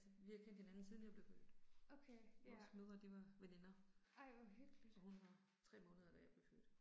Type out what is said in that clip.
Vi har kendt hinanden siden jeg blev født. Vores mødre de var veninder. Og hun var 3 måneder da jeg blev født